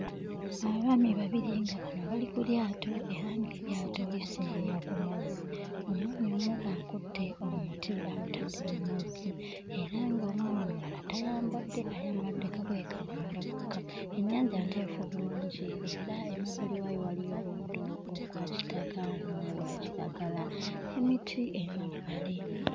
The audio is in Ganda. Abaami babiri nga bano bali ku lyato era ng'eryato liseeyeeya ku mazzi. Omwami omu akutte omuti agutadde mu mazzi era ng'omwami omulala tayambadde, ayambadde kagoye ka munda kokka. Ennyanja nteefu bulungi era emabbali waayo waliyo omuddo ogwa kitaka n'ogwa kiragala, n'emiti emabbali.